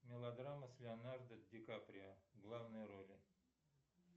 мелодрама с леонардо ди каприо в главной роли